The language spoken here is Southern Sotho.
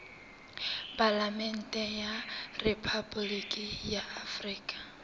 palamente ya rephaboliki ya afrika